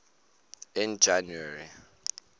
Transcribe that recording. in january